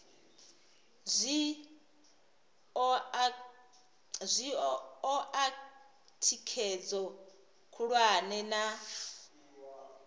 zwi oa thikhedzo khulwane na